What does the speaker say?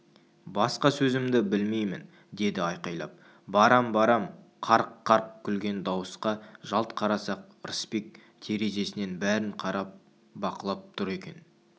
басқа сөзді білмеймін деді айқайлап барам барам қарқ-қарқ күлген дауысқа жалт қарасақ ырысбек терезесінен бәрін қарап бақылап тұр екен